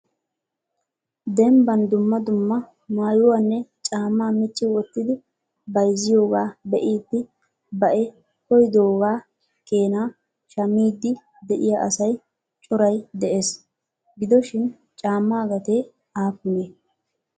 Dembban dumma dumma maayyuwanne caamma micci wottidi bayzziyooga be'idi baei koyyidoogaa keena shammidi de'iyaa asay coray de'ees. Gidoshin caamma gatee aappunee?